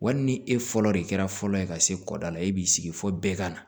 Wa hali ni e fɔlɔ de kɛra fɔlɔ ye ka se kɔda la e b'i sigi fɔ bɛɛ ka na